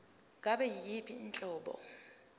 ngabe yiyiphi inhlobo